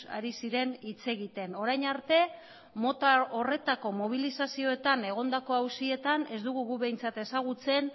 ari ziren hitz egiten orain arte mota horretako mobilizazioetan egondako auzietan ez dugu gu behintzat ezagutzen